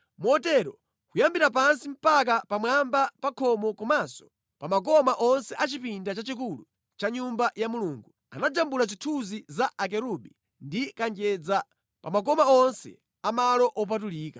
Motero kuyambira pansi mpaka pamwamba pa khomo komanso pa makoma onse a chipinda chachikulu cha Nyumba ya Mulungu, anajambula zithunzi za akerubi ndi kanjedza pa makoma onse a malo opatulika.